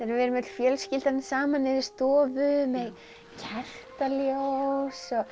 við erum öll fjölskyldan saman inn í stofu með kertaljós og